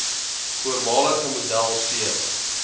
voormalige model c